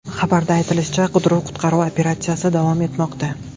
Xabarda aytilishicha, qidiruv-qutqaruv operatsiyasi davom etmoqda.